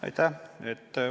Aitäh!